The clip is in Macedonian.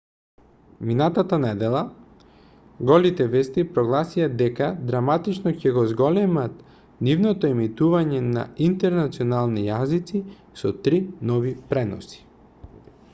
минатата недела голите вести прогласија дека драматично ќе го зголемат нивното емитување на интернационални јазици со три нови преноси